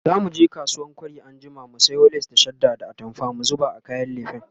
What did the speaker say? zamuje kasuwan kwari anjima mu sayo lace da shadda da atamfa mu zuba a kayan lefen